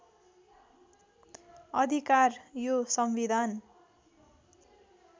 अधिकार यो संविधान